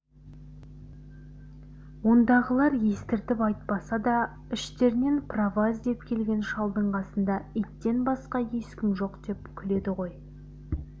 ондағылар естіртіп айтпаса да іштерінен право іздеп келген шалдың қасында иттен басқа ешкім жоқ деп күледі ғой